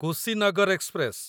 Kushinagar express